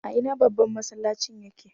A ina babban masallacin ya ke?